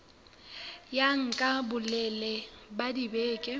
ya nka bolelele ba dibeke